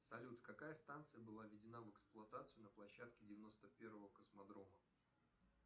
салют какая станция была введена в эксплуатацию на площадке девяносто первого космодрома